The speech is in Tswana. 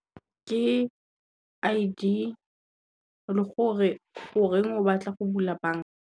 Ke I_D le go re goreng o batla go bula banka.